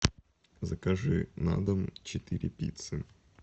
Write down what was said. закажи на дом четыре пиццы